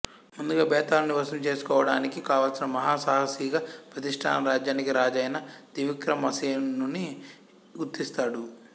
ముందుగా భేతాళుని వశం చేసుకోవడానికి కావలిసిన మహాసాహసిగా ప్రతిష్ఠాన రాజ్యానికి రాజైన త్రివిక్రమసేనుని గుర్తిస్తాడు